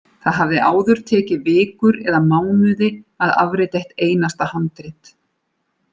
Það hafði áður tekið vikur eða mánuði að afrita eitt einasta handrit.